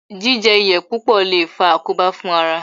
Jíjẹ iyọ̀ púpọ̀ lè faa àkóbá fún ara